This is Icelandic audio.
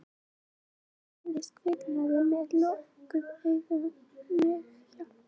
Unginn fæðist kviknakinn með lokuð augu, mjög hjálparvana og heldur dauðahaldi í feld móðurinnar.